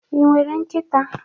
Ị nwere nkịta?